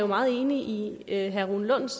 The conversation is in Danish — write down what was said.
meget enig i herre rune lunds